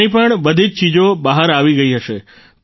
તેની પણ બધી જ ચીજો બહાર આવી ગઈ હશે